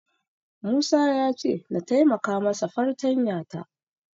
Musa ya ce na taimaka masa fartanya ta.